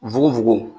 Fukofugo